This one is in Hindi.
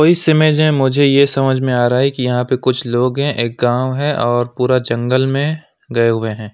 इस इमेज में मुझे यह समझ में आ रहा है कि यहां पर कुछ लोग हैं एक गांव है और पूरा जंगल में गए हुए हैं।